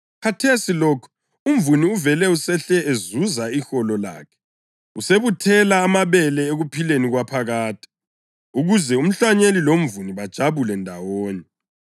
Khathesi lokhu, umvuni uvele usehle ezuza iholo lakhe, usebuthela amabele ekuphileni kwaphakade, ukuze umhlanyeli lomvuni bajabule ndawonye.